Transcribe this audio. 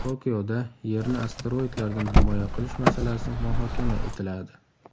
Tokioda Yerni asteroidlardan himoya qilish masalasi muhokama etiladi.